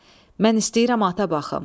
Mən istəyirəm ata baxım.